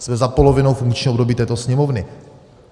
- Jsme za polovinou funkčního období této Sněmovny.